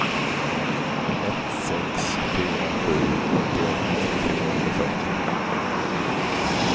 ett sex fyra sju åttioett fyrahundrafyrtio